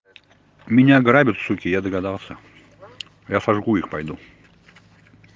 меня грабят суки я догадался я сожгу их пойду